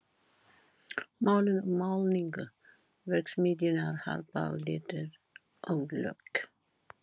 Málun og málningu: Verksmiðjurnar Harpa og Litir og lökk.